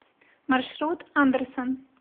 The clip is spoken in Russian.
маршрут андерсон